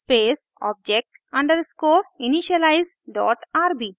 ruby space object underscore initialize dot rb